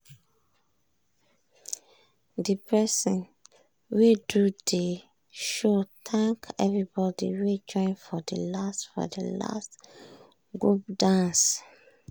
de person wey do de show thank everybody wey join for de last for de last group dance.